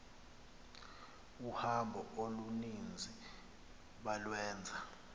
uhambo oluninzi balwenza